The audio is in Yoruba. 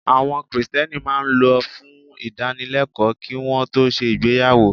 Àwọn Kristẹni máa ń lọ fún ìdánilẹ́kọ̀ọ́ kí won tó ṣe ìgbéyàwó.